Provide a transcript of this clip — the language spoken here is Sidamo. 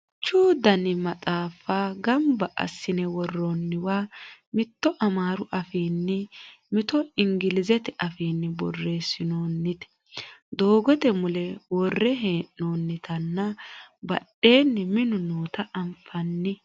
duuchu dani maxaaffa ganba assine worroonniwa mito amaaru afiini mito inglizete afiinni borreessinoonnite doogote mule worre hee'noonnitanna badheenni minu noota anfanni